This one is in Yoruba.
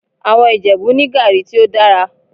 Àwọn Ìjẹ̀bú ní gàrí tí ó dára